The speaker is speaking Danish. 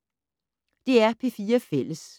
DR P4 Fælles